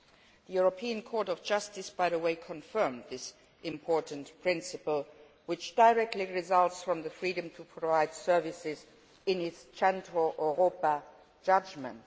The European Court of Justice, by the way, has confirmed this important principle, which directly results from the freedom to provide services, in its Centro Europa judgment.